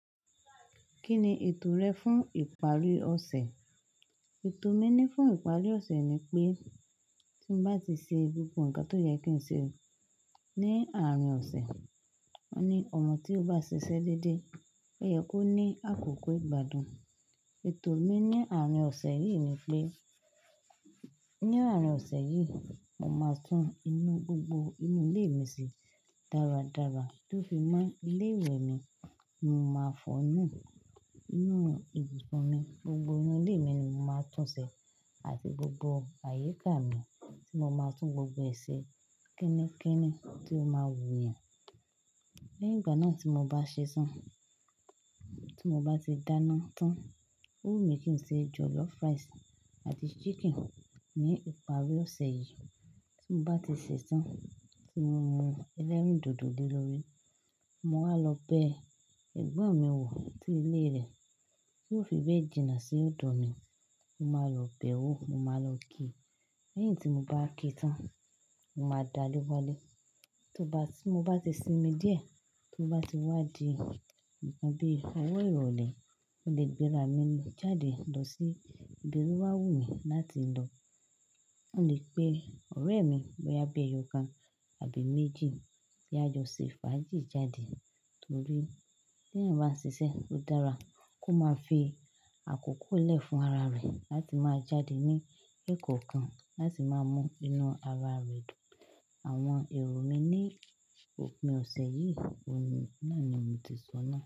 Kí ni ètò rẹ fún ìparí ọ̀sẹ̀? Ètò mi ní fún ìparí ọ̀sẹ̀ ni pé tí mo bá ti ṣe gbogbo nǹkan tó yẹ kí n ṣe ní àárín ọ̀sẹ̀, ni ọ̀mo tí ó bá ṣiṣẹ́ déédé, ó yẹ kó ní àkókò ìgbádùn. Ètò mi ní àárín ọ̀sẹ̀ yìí ni pé ní àárín ọ̀sẹ̀ yìí, mo máa tún inú gbogbo inú ilé mi se dáradára tó fi mọ́ ilé ìwẹ̀ mi, mo máa fọ́nù inú ibùsùn mi, gbogbo inú ilé mi ni mo máa túnṣe àti gbogbo àyíká mi tí mo máa tún gbogbo èsè kińikińi tí ó máa wù eeyàn. Lẹ́yìn ìgbà náà tí mo bá ṣetán, tí mo bá ti dáná tán, ó wù mí kí n ṣe jọ̀lọ́fù ráìsì àti ṣíkìn ní ìparí ọ̀sẹ̀ yìí. Tí mo bá ti ṣetán, tí mo mu ẹlẹ́rìndòdò lé lórí, mo máa lọ bẹ ẹ̀gbọ́n mi wò sí ilé rẹ̀, tí ó fi béjìna sí ódo mi, mo máa lọ bẹ̀ ẹ́ wò, mo máa lọ kí i. Lẹ́yìn tí mo bá kí i tán, mo máa dari walẹ́. To bá tí mo bá ti sinmi díẹ̀, tí ó bá ti wá di ǹkan bí i owo ìrọ̀lẹ́, mo lè gbéra mi jáde lọ sí ibi tí ó máa wù mí láti lọ. Mo lè pe ọ̀rẹ́ mi bó ya bi ẹyọkan àbí méjì kiá jọ ṣe fàájì jáde torí tí ẹ̀eyan bá ń ṣiṣẹ́, ó dára kó máa fi àkókò lẹ̀ fún ara rẹ̀ láti máa jáde ní èkó kan láti máa mú inú ara rẹ̀ dùn. Àwọn èrò mi ní òpin ọ̀sẹ̀ yìí, ọ̀nà ni mo ti sọ náà.